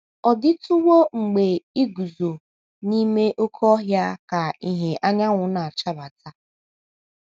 Ọ̀ DỊTỤWO mgbe i guzo n’ime oké ọhịa ka ìhè anyanwụ na - achabata?